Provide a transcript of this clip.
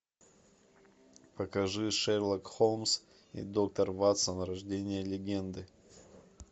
покажи шерлок холмс и доктор ватсон рождение легенды